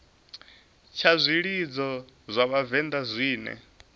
tsha zwilidzo zwa vhavenḓa zwine